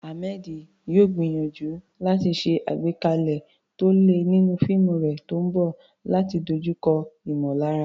Ahmed yóò gbìyànjú láti ṣe àgbékalẹ̀ tó le nínú fíìmù rẹ̀ tó ń bọ̀ láti dojúkọ ìmọ̀lára.